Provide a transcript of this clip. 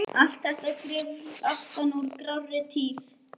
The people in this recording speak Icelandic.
Allt þetta grufl aftan úr grárri tíð.